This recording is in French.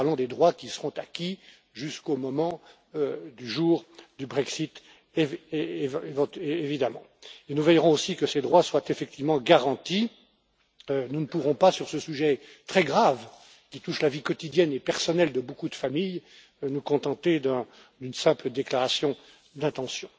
Nous parlons des droits qui seront acquis jusqu'au jour du Brexit, naturellement, et nous veillerons aussi à ce que ces droits soient effectivement garantis. Nous ne pourrons pas, sur ce sujet très grave, qui touche la vie quotidienne et personnelle de beaucoup de familles, nous contenter d'une simple déclaration d'intention.